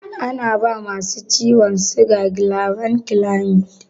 Ana bawa masu ciwon siga gilabankilamid.